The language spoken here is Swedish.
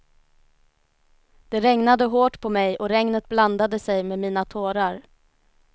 Det regnade hårt på mig och regnet blandade sig med mina tårar.